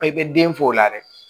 I bɛ den fɔ o la dɛ